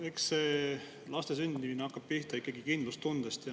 Eks see laste sündimine hakkab pihta ikkagi kindlustundest.